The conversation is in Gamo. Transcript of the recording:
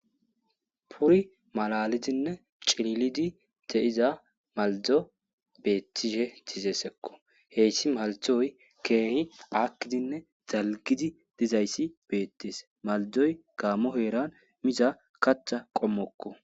Tori malalidinne lo'iza maldo bettishe dizayssakko hessi maldoy keehi aakidinne dalggidii dizayssi beetes maldoy gaammo heeran miiza kaththa qoommokko